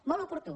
molt oportú